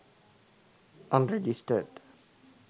unregistered